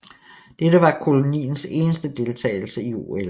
Dette var koloniens eneste deltagelse i OL